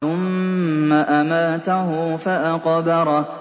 ثُمَّ أَمَاتَهُ فَأَقْبَرَهُ